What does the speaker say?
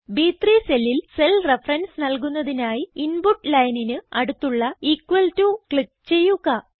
ബ്3 സെല്ലിൽ cell reference നല്കുന്നതിനായി input lineന് അടുത്തുള്ള ഇക്വൽ ടോ ക്ലിക്ക് ചെയ്യുക